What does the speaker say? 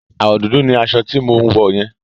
Àwọ̀ dúdú ni aṣọ tí mò ń wò yẹn.